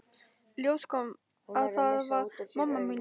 Í ljós kom að það var mamma mín.